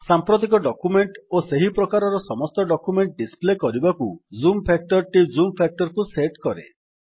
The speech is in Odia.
ସାମ୍ପ୍ରତିକ ଡକ୍ୟୁମେଣ୍ଟ୍ ଓ ସେହି ପ୍ରକାରର ସମସ୍ତ ଡକ୍ୟୁମେଣ୍ଟ୍ ଡିସପ୍ଲେ କରିବାକୁ ଜୁମ୍ ଫାକ୍ଟର ଟି ଜୁମ୍ ଫ୍ୟାକ୍ଟର୍ କୁ ସେଟ୍ କରେ